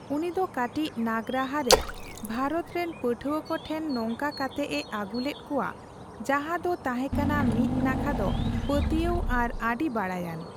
ᱩᱱᱤ ᱫᱚ ᱠᱟᱹᱴᱤᱡ ᱱᱟᱜᱨᱟᱦᱟ ᱨᱮ ᱵᱷᱟᱨᱚᱛ ᱨᱮᱱ ᱯᱟᱹᱴᱷᱣᱟᱹ ᱠᱚ ᱴᱷᱮᱱ ᱱᱚᱝᱠᱟ ᱠᱟᱛᱮᱜ ᱮ ᱟᱹᱜᱩᱞᱮᱫ ᱠᱚᱣᱟ ᱡᱟᱦᱟ ᱫᱚ ᱛᱟᱦᱮ ᱠᱟᱱᱟ ᱢᱤᱫ ᱱᱟᱠᱷᱟ ᱫᱚ ᱯᱟᱹᱛᱭᱟᱹᱣ ᱟᱨ ᱟᱹᱰᱤ ᱵᱟᱲᱟᱭᱟᱱ ᱾